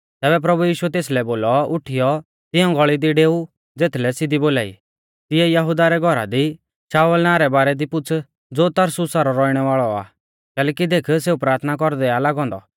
तैबै प्रभु यीशुऐ तेसलै बोलौ उठीयौ तिऐं गल़ी दी डेऊ ज़ेथलै सिधी बोलाई तिऐ यहुदा रै घौरा दी शाऊल नावां रै बारै दी पुछ़ ज़ो तरसुसा रौ रौइणै वाल़ौ आ कैलैकि देख सेऊ प्राथना कौरदै आ लागौ औन्दौ